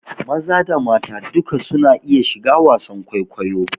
Maza da mata duk su na iya shiga wasan kwaikwayo